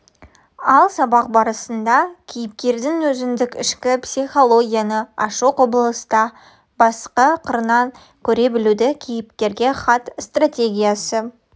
ал сабақ барысында кейіпкердің өзіндік ішкі психологияны ашу құбылысты басқа қырынан көре білуді кейіпкерге хат стратегиясы